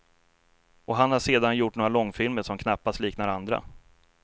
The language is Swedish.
Och han har sedan gjort några långfilmer som knappast liknar andra.